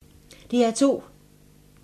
DR2